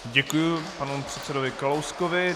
Děkuji panu předsedovi Kalouskovi.